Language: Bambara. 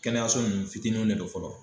Kɛnɛyaso ninnu fitininw ne do fɔlɔ.